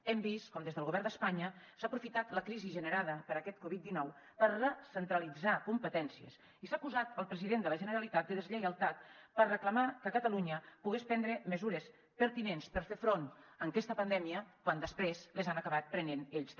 hem vist com des del govern d’espanya s’ha aprofitat la crisi generada per aquest covid dinou per recentralitzar competències i s’ha acusat el president de la generalitat de deslleialtat per reclamar que catalunya pogués prendre mesures pertinents per fer front a aquesta pandèmia quan després les han acabat prenent ells també